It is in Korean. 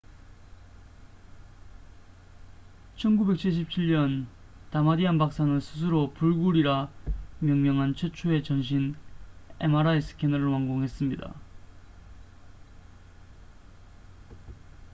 "1977년 다마디안 박사는 스스로 "불굴""이라 명명한 최초의 "전신" mri 스캐너를 완공했습니다.